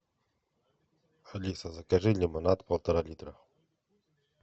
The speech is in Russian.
алиса закажи лимонад полтора литра